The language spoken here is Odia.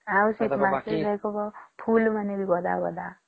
ଆଉ ଶୀତ ମାସେ ଫୁଲ ମାନେ ବି ଗଦା ଗଦା